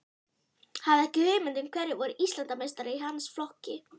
Hafði ekki hugmynd um hverjir voru Íslandsmeistarar í hans flokki.